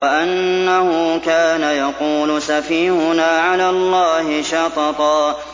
وَأَنَّهُ كَانَ يَقُولُ سَفِيهُنَا عَلَى اللَّهِ شَطَطًا